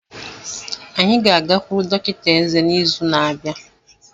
Anyị ga-agakwuru dọkịta eze n'izu na-abịa.